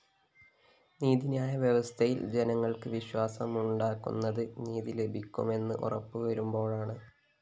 നീതിന്യായ വ്യവസ്ഥയില്‍ ജനങ്ങള്‍ക്ക് വിശ്വാസമുണ്ടാകുന്നത് നീതി ലഭിക്കുമെന്ന് ഉറപ്പുവരുമ്പോഴാണ്